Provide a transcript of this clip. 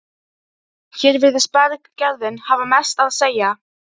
Hér virðist berggerðin hafa mest að segja.